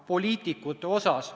Palun, härra Grünthal!